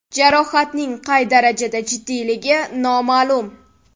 Jarohatning qay darajada jiddiyligi noma’lum.